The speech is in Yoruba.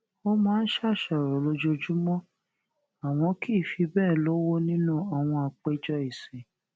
ó máa ń ṣàṣàrò lójoojúmó àmó kì í fi béè lówó nínú àwọn àpéjọ ìsìn